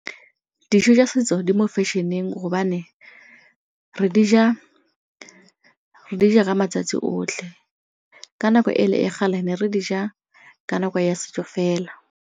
Dijo tsa setso di mo fashion-eng hobane re dija ka matsatsi otlhe ka nako e le ya kgale ne re dija ka nako ya setso fela.